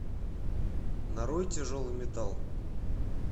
нарой тяжелый металл